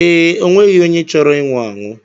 Ee, o nweghị onye chọrọ inwu anwụ.